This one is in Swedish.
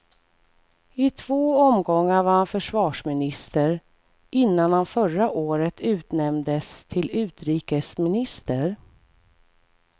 I två omgångar var han försvarsminister, innan han förra året utnämndes till utrikesminister.